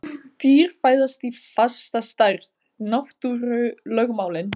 Dýr fæðast í fasta stærð: náttúrulögmálin.